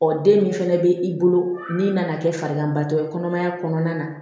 Ɔ den min fɛnɛ bɛ i bolo min nana kɛ farigantɔ ye kɔnɔmaya kɔnɔna na